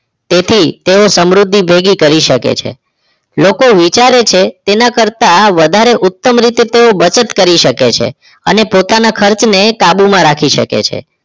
તેથી તેઓ સમૃદ્ધિ ભેગી કરી શકે છે લોકો વિચારે છે તેના કરતાં વધારે ઉત્તમ રીતે બચત કરી શકે છે અને પોતાના ખર્ચને કાબુમાં રાખી શકે છે